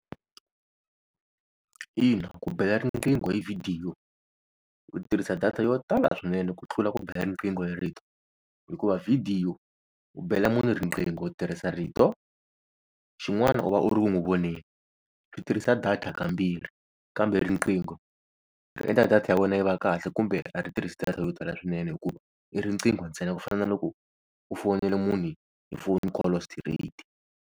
Ina ku bela riqingho hi vhidiyo u tirhisa data yo tala swinene ku tlula ku bela riqingho hi rito, hikuva vhidiyo u bela munhu riqingho u tirhisa rito xin'wana u va u ri ku n'wi voneni ri tirhisa data kambirhi. Kambe riqingho ri endla data ya wena yi va kahle kumbe a ri tirhisi data yo tala swinene hikuva i riqingho ntsena ku fana na loko u fonela munhu hi phone call straight.